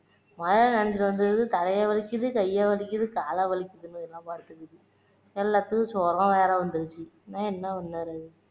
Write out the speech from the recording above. மழையில நனைஞ்சுட்டு வந்தது தலையை வலிக்குது கையை வலிக்குது கால வலிக்குதுன்னு எல்லாம் படுத்துக்குது எல்லத்துக்கும் ஜுரம் வேற வந்துருச்சு இன்னும் என்ன பண்ணுறது